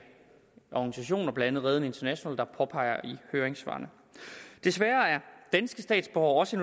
organisationer blandt andet reden international der påpeger i høringssvarene desværre er danske statsborgere også